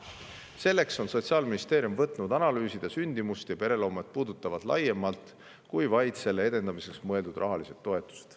Selleks on Sotsiaalministeerium võtnud analüüsida sündimuse ja pereloomega seonduvat laiemalt kui vaid selle edendamiseks mõeldud rahalised toetused.